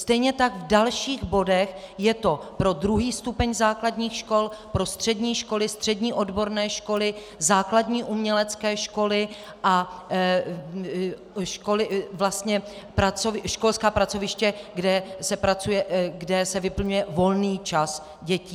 Stejně tak v dalších bodech je to pro druhý stupeň základních škol, pro střední školy, střední odborné školy, základní umělecké školy a školská pracoviště, kde se vyplňuje volný čas dětí.